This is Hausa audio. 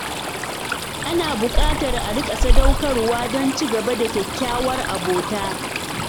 Ana buƙatar a riƙa sadaukarwa don ci gaba da kyakkyawar abota.